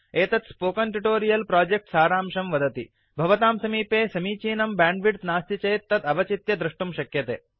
एतत् spoken tutorial project सारांशं वदति भवतां समीपे समीचीनं ब्याण्ड्विड्थ् नास्ति चेत् तद् अवचित्य द्रष्टुं शक्यते